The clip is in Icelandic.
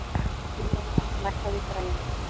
Dedda, lækkaðu í græjunum.